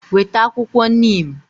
Weta akwukwo neem!